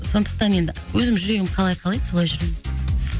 сондықтан енді өзім жүрегім қалай қалайды солай жүремін